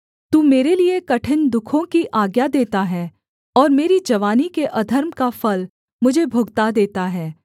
तू मेरे लिये कठिन दुःखों की आज्ञा देता है और मेरी जवानी के अधर्म का फल मुझे भुगता देता है